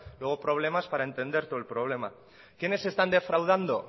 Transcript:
luego problemas para entender todo el problema quiénes están defraudando